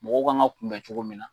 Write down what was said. Mɔgɔ kan ka kunbɛ cogo min na,